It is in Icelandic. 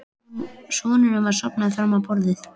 Sonurinn var sofnaður fram á borðið.